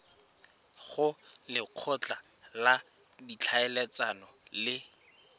go lekgotla la ditlhaeletsano le